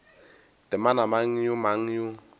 temana mang le mang yo